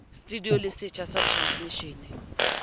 studio le setsha sa transmishene